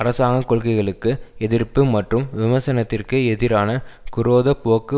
அரசாங்க கொள்கைகளுக்கு எதிர்ப்பு மற்றும் விமர்சனத்திற்கு எதிரான குரோத போக்கு